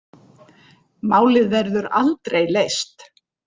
Málið verður aldrei leyst.